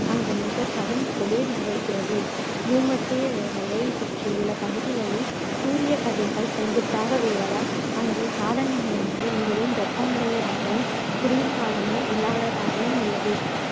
அங்கு மிகக் கடும் குளிர் நிலவுகிறது பூமத்திய ரேகையைச் சுற்றியுள்ள பகுதிகளில் சூரியக்கதிர்கள் செங்குத்தாக விழுவதால் அங்கு காலநிலையானது மிகவும் வெப்பமாகவும் குளிர் காலமே இல்லாததாகவும் உள்ளது